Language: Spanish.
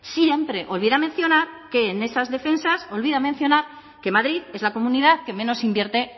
siempre olvida mencionar que en esas defensas que madrid es la comunidad que menos invierte